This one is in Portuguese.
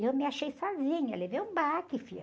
E eu me achei sozinha, levei um baque, filha.